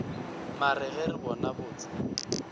mare ge re bona botse